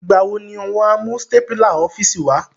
Ìgbà wo ni won á mú stapler ọ́fíìsì wá?